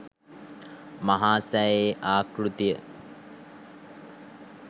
මහා සෑයේ ආකෘතිය